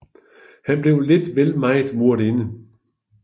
Han blev lidt vel meget muret inde